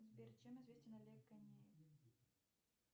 сбер чем известен олег ганеев